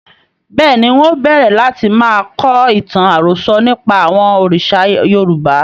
Bẹ́ẹ̀ni, ń ó bẹ̀rẹ̀ láti máa kọ ìtàn àròsọ̀ nípa àwọn òrìṣà Yorùbá